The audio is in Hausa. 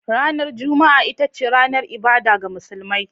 Ranar Juma'a ita ce ranar ibada ga musulmi.